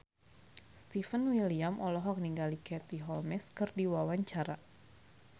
Stefan William olohok ningali Katie Holmes keur diwawancara